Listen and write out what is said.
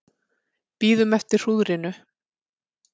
Bíðum eftir hrúðrinu